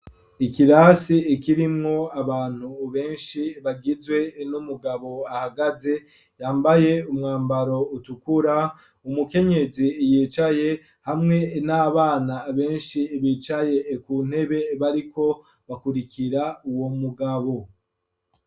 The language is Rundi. Ikirasi ikirimwo abantu benshi bagizwe n'umugabo ahagaze yambaye umwambaro utukura umukenyezi yicaye hamwe n'abana benshi bicaye ku ntebe bariko bakurikira uwo mugabo.